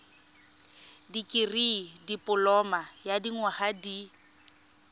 dikirii dipoloma ya dinyaga di